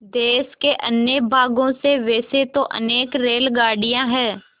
देश के अन्य भागों से वैसे तो अनेक रेलगाड़ियाँ हैं